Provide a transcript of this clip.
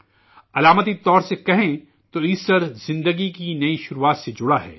علامتی طور پر کہیں تو ایسٹر زندگی کی نئی شروعات سے جڑا ہے